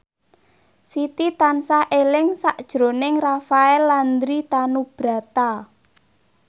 Siti tansah eling sakjroning Rafael Landry Tanubrata